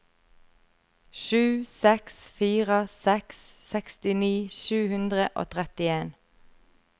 sju seks fire seks sekstini sju hundre og trettien